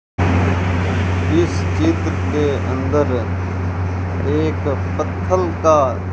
इस चित्र के अंदर एक पत्थल का --